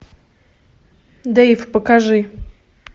дейв покажи